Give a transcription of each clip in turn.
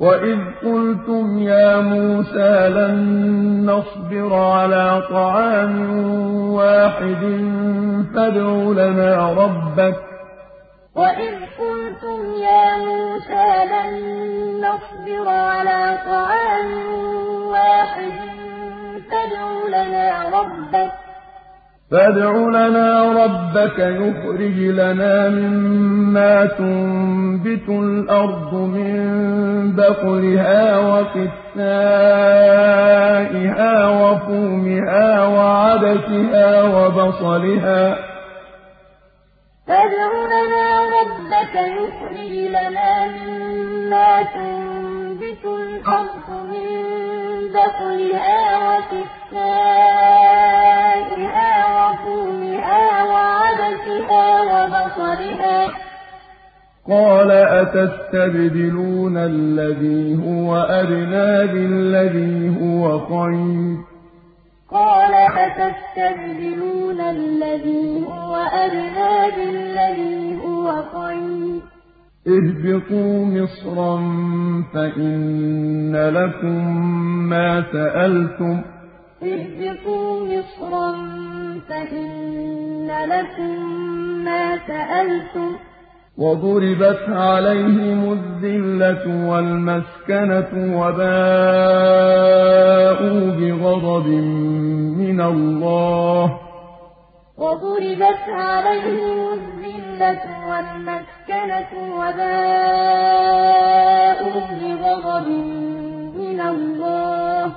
وَإِذْ قُلْتُمْ يَا مُوسَىٰ لَن نَّصْبِرَ عَلَىٰ طَعَامٍ وَاحِدٍ فَادْعُ لَنَا رَبَّكَ يُخْرِجْ لَنَا مِمَّا تُنبِتُ الْأَرْضُ مِن بَقْلِهَا وَقِثَّائِهَا وَفُومِهَا وَعَدَسِهَا وَبَصَلِهَا ۖ قَالَ أَتَسْتَبْدِلُونَ الَّذِي هُوَ أَدْنَىٰ بِالَّذِي هُوَ خَيْرٌ ۚ اهْبِطُوا مِصْرًا فَإِنَّ لَكُم مَّا سَأَلْتُمْ ۗ وَضُرِبَتْ عَلَيْهِمُ الذِّلَّةُ وَالْمَسْكَنَةُ وَبَاءُوا بِغَضَبٍ مِّنَ اللَّهِ ۗ ذَٰلِكَ بِأَنَّهُمْ كَانُوا يَكْفُرُونَ بِآيَاتِ اللَّهِ وَيَقْتُلُونَ النَّبِيِّينَ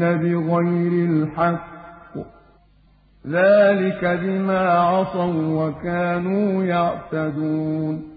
بِغَيْرِ الْحَقِّ ۗ ذَٰلِكَ بِمَا عَصَوا وَّكَانُوا يَعْتَدُونَ وَإِذْ قُلْتُمْ يَا مُوسَىٰ لَن نَّصْبِرَ عَلَىٰ طَعَامٍ وَاحِدٍ فَادْعُ لَنَا رَبَّكَ يُخْرِجْ لَنَا مِمَّا تُنبِتُ الْأَرْضُ مِن بَقْلِهَا وَقِثَّائِهَا وَفُومِهَا وَعَدَسِهَا وَبَصَلِهَا ۖ قَالَ أَتَسْتَبْدِلُونَ الَّذِي هُوَ أَدْنَىٰ بِالَّذِي هُوَ خَيْرٌ ۚ اهْبِطُوا مِصْرًا فَإِنَّ لَكُم مَّا سَأَلْتُمْ ۗ وَضُرِبَتْ عَلَيْهِمُ الذِّلَّةُ وَالْمَسْكَنَةُ وَبَاءُوا بِغَضَبٍ مِّنَ اللَّهِ ۗ ذَٰلِكَ بِأَنَّهُمْ كَانُوا يَكْفُرُونَ بِآيَاتِ اللَّهِ وَيَقْتُلُونَ النَّبِيِّينَ بِغَيْرِ الْحَقِّ ۗ ذَٰلِكَ بِمَا عَصَوا وَّكَانُوا يَعْتَدُونَ